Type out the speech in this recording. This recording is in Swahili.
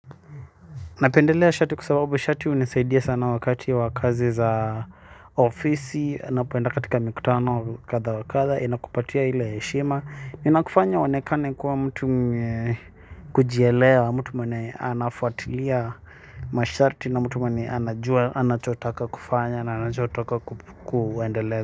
Napendelea shati kwa sababu shati hunisaidia sana wakati wa kazi za ofisi. Napenda katika mikutano kadha wa kadha inakupatia ile heshima. Inakufanya uonekane kuwa mtu kujieleawa mtu mwenye anafuatilia mashati. Na mtu mwenye anajua anachotaka kufanya na anachotaka kufanya na anachotaka kuendelea.